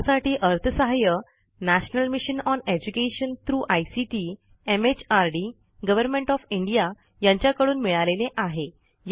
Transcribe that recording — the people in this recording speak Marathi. यासाठी अर्थसहाय्य national mission on education through ICT MHRD government O F India यांच्याकडून मिळालेले आहे